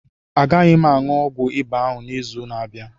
A gaghị m a ṅụọ ọgwụ ịba ahụ n'izu na-abịa.